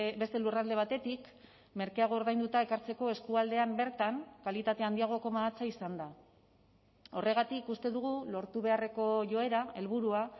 beste lurralde batetik merkeago ordainduta ekartzeko eskualdean bertan kalitate handiagoko mahatsa izanda horregatik uste dugu lortu beharreko joera helburua